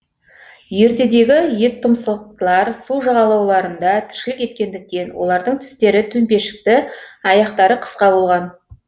ертедегі еттұмсықтылар су жағалауларында тіршілік еткендіктен олардың тістері төмпешікті аяқтары қысқа болған